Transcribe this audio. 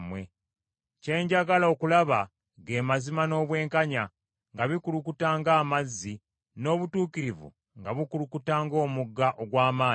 Kye njagala okulaba ge mazima n’obwenkanya nga bikulukuta ng’amazzi, n’obutuukirivu nga bukulukuta ng’omugga ogw’amaanyi.